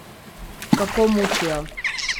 Kako mučijo?